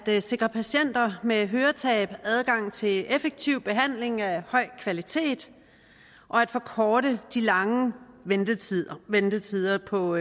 at sikre patienter med høretab adgang til effektiv behandling af høj kvalitet og at forkorte de lange ventetider ventetider på